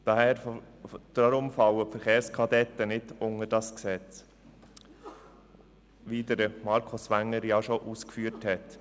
Deshalb fallen die Verkehrskadetten nicht unter dieses Gesetz, wie dies Markus Wenger bereits ausgeführt hat.